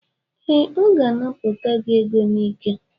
Ee, ọ ga-anapụta gị ego n'ike.